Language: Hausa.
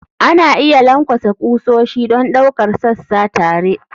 Ana iya lankwasa ƙusoshi don ɗaukar sassa tare.